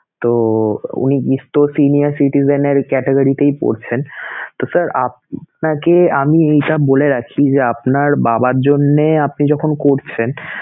তো উনি senior citizen এর category তেই পরছেন তো sir আপনাকে আমি এইটা বলে রাখি যে আপনার বাবার জন্যে আপনি যখন করছেন